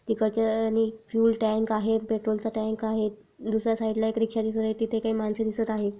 तिकडच्या आणि fuel tank आहे पेट्रोलचा टाँक आहे दुसर्‍या साइडला एक रिक्शा दिसत आहे तिथे काही मानसे दिसत आहे.